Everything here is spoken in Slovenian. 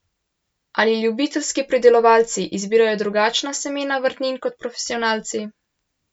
Ali ljubiteljski pridelovalci izbirajo drugačna semena vrtnin kot profesionalci?